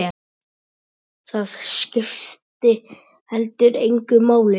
Það skipti heldur engu máli.